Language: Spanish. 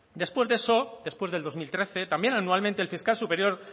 después de eso después del dos mil trece también anualmente el fiscal superior